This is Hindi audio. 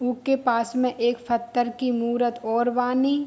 उके पास में एक पत्थर की मूरत और बानी।